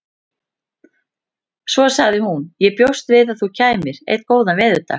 Svo sagði hún: Ég bjóst við að þú kæmir. einn góðan veðurdag